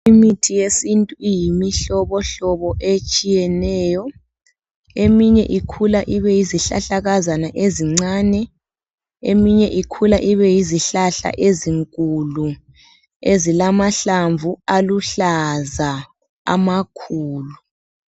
Imithi yesintu iymihlobohlobo etshiyeneyo. Eminye ikula ibe yizihlahlakazana ezincane, eminye ikula ibe yizihlahla ezinkulu ezilamahlamvu aluhlaza amakhulu.